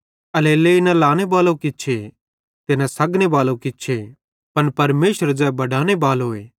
एल्हेरेलेइ न त लाने बालो किछे ते न सग्गने बालो किछे पन परमेशर ज़ै बडाने बालोए